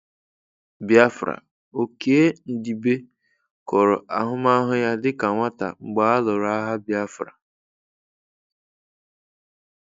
Biafra: Okey Ndibe kọrọ ahụmahụ ya dịka nwata mgbe a lụrụ agha Biafra.